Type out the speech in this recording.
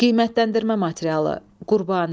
Qiymətləndirmə materialı: Qurbani.